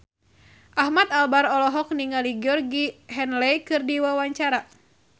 Ahmad Albar olohok ningali Georgie Henley keur diwawancara